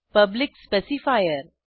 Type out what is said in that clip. public specifier